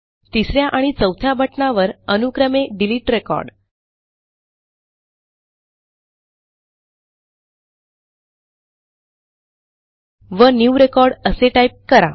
तिस या आणि चौथ्या बटणावर अनुक्रमे डिलीट रेकॉर्ड व न्यू रेकॉर्ड असे टाईप करा